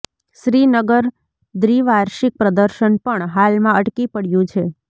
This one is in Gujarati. શ્રીનગર દ્વિવાર્ષિક પ્રદર્શન પણ હાલમાં અટકી પડ્યું છે